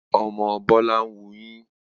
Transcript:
Ọmọ Bọ́lá ń wuyín